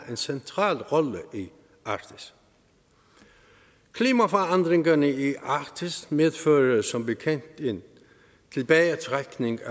en central rolle i arktis klimaforandringerne i arktis medfører som bekendt en tilbagetrækning af